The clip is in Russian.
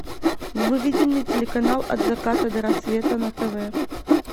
выведи мне телеканал от заката до рассвета на тв